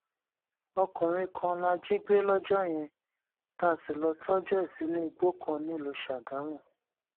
ọkùnrin kan la jí gbé lọjọ yẹn tá a sì lọọ tọjú ẹ sínú igbó kan nílùú sàgámù